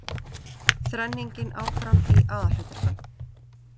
Þrenningin áfram í aðalhlutverkum